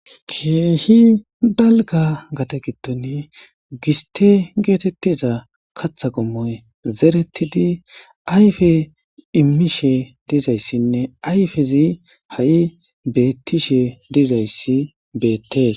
keehi dalga gade gidon giste geetettiza katha qommoy zerettidi ayfe immishe dizayssinne ayfezi ha7i bettishe dizayssi beettees